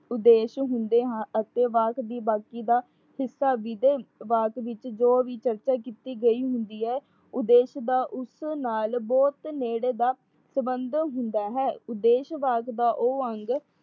ਉਦੇਸ਼ ਹੁੰਦੇ ਹਾਂ ਅਤੇ ਵਾਕ ਦੀ ਬਾਕੀ ਦਾ ਜੋ ਵੀ ਚਰਚਾ ਕੀਤੀ ਗਈ ਹੁੰਦੀ ਹੈ। ਉਦੇਸ਼ ਦਾ ਉਸ ਨਾਲ ਬਹੁਤ ਨੇੜੇ ਦਾ ਸੰਬੰਧ ਹੁੰਦਾ ਹੈ। ਉਦੇਸ਼ ਵਾਸ ਦਾ ਉਹ ਅੰਗ